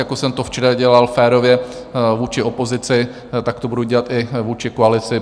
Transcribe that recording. Jako jsem to včera dělal férově vůči opozici, tak to budu dělat i vůči koalici.